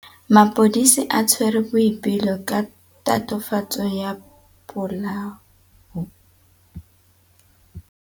Maphodisa a tshwere Boipelo ka tatofatsô ya polaô.